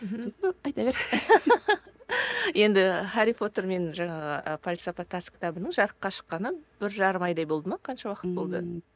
енді хәрри потер мен жаңағы і пәлсапа тас кітабының жарыққа шыққанына бір жарым айдай болды ма қанша уақыт болды